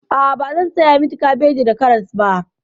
A'a, bazan saya miki kabeji da karas ba.